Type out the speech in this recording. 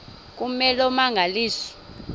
kume loo mmangaliso